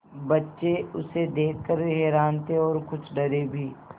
बच्चे उसे देख कर हैरान थे और कुछ डरे भी